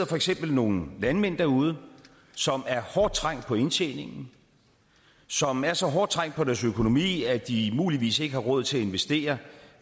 for eksempel nogle landmænd derude som er hårdt trængt på indtjeningen som er så hårdt trængt på deres økonomi at de muligvis ikke har råd til at investere